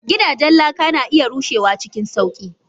Gidajen laka na iya rushewa cikin sauƙi.